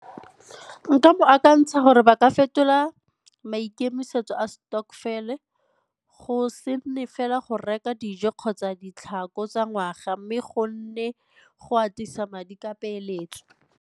Nka bo akantsha gore ba ka fetola maikemisetso a stokvel-e, go se nne fela go reka dijo kgotsa ditlhako tsa ngwaga mme go nne go atisa madi ka peeletso.